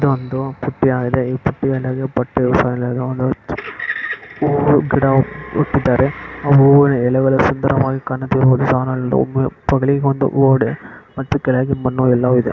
ಇಲ್ಲಿ ಒಂದು ಬುಟ್ಟಿ ಇದೆಹೂವೂ ಗಿಡ ಇಟ್ಟಿದಾರೆ ಆ ಹೂವಿನ ಎಳೆಗಳೆಲ್ಲ ಸುಬ್ರವಾಗಿ ಕಾಣಿಸ್ತಿದೆ ತೋಗ್ಲಿಗೊಂದು ಗೋಡೆ ಕೆಳಗೆ ಮಣ್ಣು ಎಲ್ಲಾ ಇದೆ.